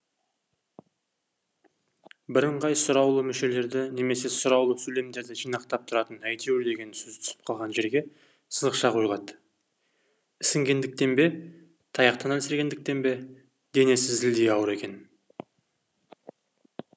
бірыңғай сұраулы мүшелерді немесе сұраулы сөйлемдерді жинақтап тұратын әйтеуір деген сөз түсіп қалған жерге сызықша қойылады ісінгендіктен бе таяқтан әлсірегендіктен бе денесі зілдей ауыр екен